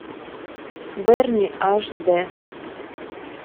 берни аш дэ